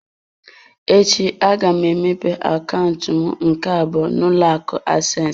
Echi, aga m emepe akaụntụ m nke abụọ n'ụlọ akụ access.